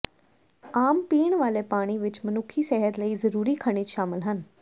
ਆਮ ਪੀਣ ਵਾਲੇ ਪਾਣੀ ਵਿੱਚ ਮਨੁੱਖੀ ਸਿਹਤ ਲਈ ਜ਼ਰੂਰੀ ਖਣਿਜ ਸ਼ਾਮਿਲ ਹਨ